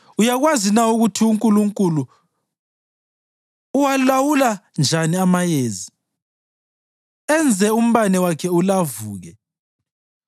Uyakwazi na ukuthi uNkulunkulu uwalawula njani amayezi enze umbane wakhe ulavuke?